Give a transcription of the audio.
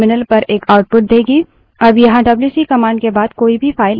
अब यहाँ WC wc command के बाद कोई भी file नहीं दी गयी है